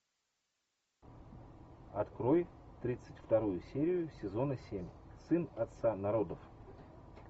открой тридцать вторую серию сезона семь сын отца народов